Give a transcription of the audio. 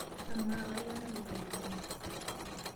Amaa, kainyoo naloito dukuya?